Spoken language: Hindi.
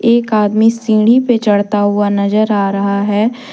एक आदमी सीढ़ी पे चढ़ता हुआ नजर आ रहा है।